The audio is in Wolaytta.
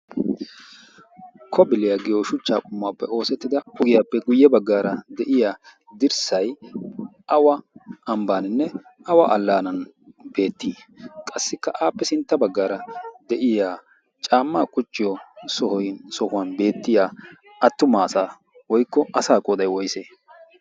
Kobiliyaa giyo shuchcha qummuwaappe oosettida ugiyaappe guyye baggaara de'iya dirssay awa ambbaaninne awa allaanan beettii? Qassikka aappe sintta baggaara de'iya caamma quchchiyo sohuwan beettiya attuma asa woykko asa qooday woyse?